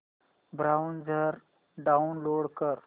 browser download कर